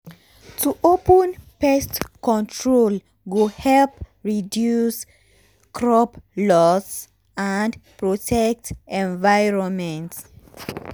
to open pest control go help reduce crop loss and um protect environment.